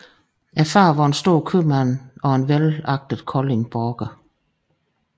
Faderen var en stor købmand og velagtet koldingborger